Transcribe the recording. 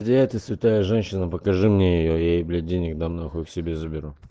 где эта святая женщина покажи мне её я ей блять денег дам нахуй к себе заберу